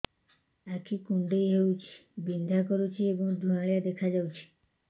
ଆଖି କୁଂଡେଇ ହେଉଛି ବିଂଧା କରୁଛି ଏବଂ ଧୁଁଆଳିଆ ଦେଖାଯାଉଛି